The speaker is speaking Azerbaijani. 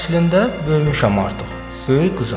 Əslində böyümüşəm artıq, böyük qızam.